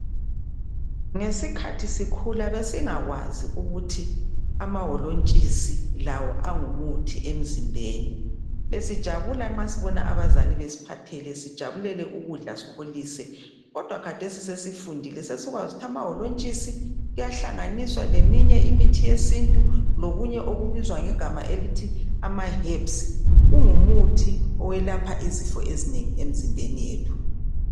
Ngesikhathi sikhula besingakwazi ukuthi amaholontshisi lawo angumuthi emzimbeni. Besijabula nxa sibona abazali besiphathela besijabulela ukudla sikholise, kodwa khathesi sesifundile sesikwazi ukuthi amaholontshisi ayahlanganiswa leminye imithi yesintu lokunye okubizwa ngegama elithi amaherbs kungumuthi owelapha izifo ezinengi emzimbeni yethu.